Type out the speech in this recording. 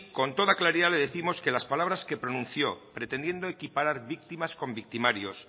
con toda claridad le décimos que las palabras que pronunció pretendiendo equiparar víctimas con victimarios